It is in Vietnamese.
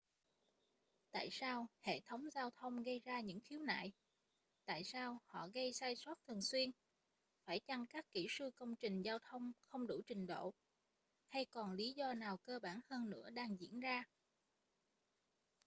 tại sao hệ thống giao thông gây ra những khiếu nại tại sao họ gây sai sót thường xuyên phải chăng các kỹ sư công trình giao thông không đủ trình độ hay còn lý do nào cơ bản hơn nữa đang diễn ra